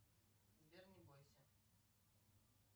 сбер не бойся